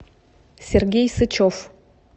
сергей сычев